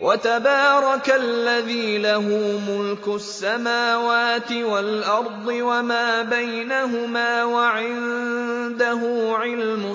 وَتَبَارَكَ الَّذِي لَهُ مُلْكُ السَّمَاوَاتِ وَالْأَرْضِ وَمَا بَيْنَهُمَا وَعِندَهُ عِلْمُ